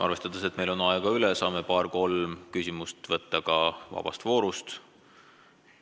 Arvestades, et meil on aega üle, saame paar-kolm küsimust esitada ka nn vaba vooru korras.